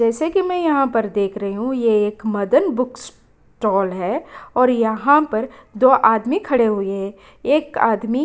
जैसे कि यहाँ पर देख रही हूँ ये एक मदन बुक स्टॉल है और यहाँ पर दो आदमी खड़े हुए हैं एक आदमी --